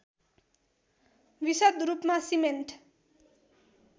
विशद रूपमा सिमेन्ट